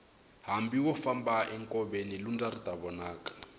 hambi wo famba nkoveni lundza ri ta vonaka